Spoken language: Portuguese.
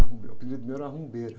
Ah, uh, o meu, o apelido meu era rumbeiro.